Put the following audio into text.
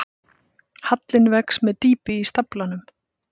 Hallinn vex með dýpi í staflanum.